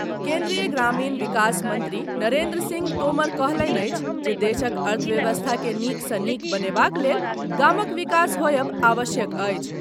केन्द्रीय ग्रामीण विकास मंत्री नरेन्द्र सिंह तोमर कहलनि अछि जे देशक अर्थव्यवस्था के नीक सँ नीक बनेबाक लेल गामक विकास होयब आवश्यक अछि।